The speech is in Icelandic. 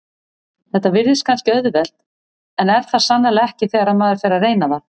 Þetta virðist kannski auðvelt en er það sannarlega ekki þegar maður fer að reyna það.